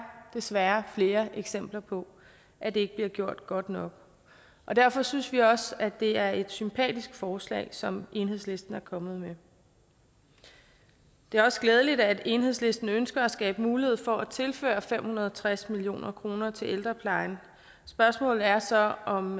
desværre flere eksempler på at det ikke bliver gjort godt nok derfor synes vi også at det er et sympatisk forslag som enhedslisten er kommet med det er også glædeligt at enhedslisten ønsker at skabe mulighed for at tilføre fem hundrede og tres million kroner til ældreplejen spørgsmålet er så om